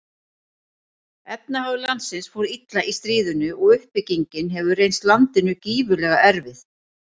Efnahagur landsins fór illa í stríðinu og uppbyggingin hefur reynst landinu gífurlega erfið.